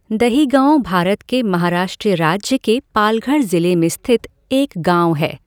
दहिगओं भारत के महाराष्ट्र राज्य के पालघर ज़िले में स्थित एक गाँव है।